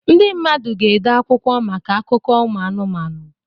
Ndị mmadụ ga-ede akwụkwọ maka akụkọ ụmụ anụmanụ